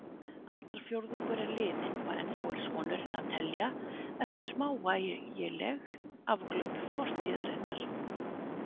Aldarfjórðungur liðinn og ennþá er sonurinn að telja eftir smávægileg afglöp fortíðarinnar.